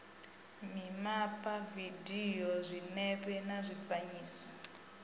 mimapa dzividio zwinepe na zwifanyiso